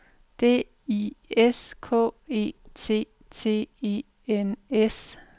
D I S K E T T E N S